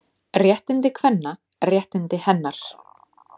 Réttindi kvenna, réttindi hennar.